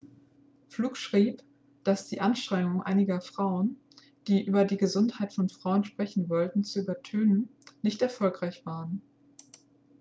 fluke schrieb dass die anstrengungen einiger frauen die über die gesundheit von frauen sprechen wollten zu übertönen nicht erfolgreich waren